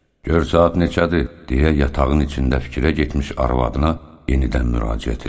Gör saat neçədir, deyə yatağın içində fikirə getmiş arvadına yenidən müraciət elədi.